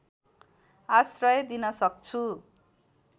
आश्रय दिन सक्छु